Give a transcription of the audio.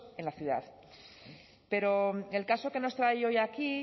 en la ciudad pero el caso que nos trae hoy aquí